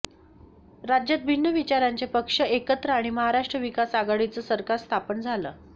राज्यात भिन्न विचारांचे पक्ष एकत्र आणि महाराष्ट्र विकास आघाडीचं सरकार स्थापन झालं